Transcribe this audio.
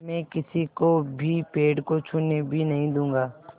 मैं किसी को भी पेड़ को छूने भी नहीं दूँगा